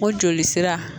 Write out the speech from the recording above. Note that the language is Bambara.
O joli sira